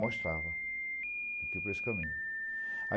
Mostrava, tem que ir por esse caminho.